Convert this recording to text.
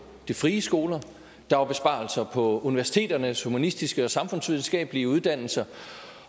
de frie skoler og der var besparelser på universiteternes humanistiske og samfundsvidenskabelige uddannelser